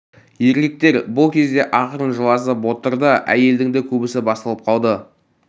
еркектер бұл кезде ақырын жыласып отыр да әйелдің де көбі басылып қалды